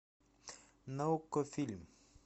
на окко фильм